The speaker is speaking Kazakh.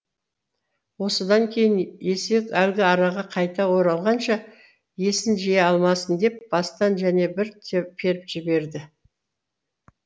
осыдан кейін есек әлгі араға қайта оралғанша есін жия алмасын деп бастан және бір періп жіберді